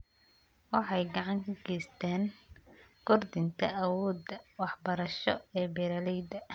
Waxay gacan ka geystaan ??kordhinta awoodda waxbarasho ee beeralayda.